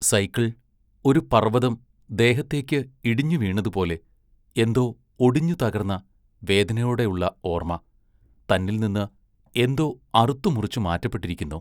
Cycle ഒരു പർവ്വതം ദേഹത്തേക്ക് ഇടിഞ്ഞു വീണതുപോലെ എന്തോ ഒടിഞ്ഞു തകർന്ന, വേദനയോടെ ഉള്ള ഓർമ്മ, തന്നിൽനിന്ന് എന്തോ അറുത്തു മുറിച്ചു മാറ്റപ്പെട്ടിരിക്കുന്നു.